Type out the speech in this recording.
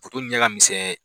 ɲɛ ka misɛn